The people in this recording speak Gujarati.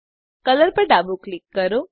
કલર પર ડાબું ક્લિક કરો